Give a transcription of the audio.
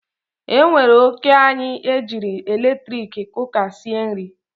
E wete ọkụ anyị e jiri eletrik kuka sie nri